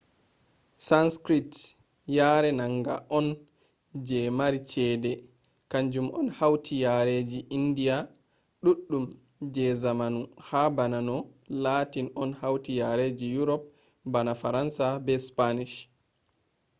sanskrit yare manga on je mari chede kanjum on hauti yareji indiya ɗuɗɗum je zamanu ha bana no latin on hauti yareji yurop bana faransa be spanish